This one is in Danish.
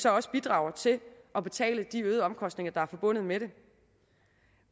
også bidrager til at betale de øgede omkostninger der er forbundet med det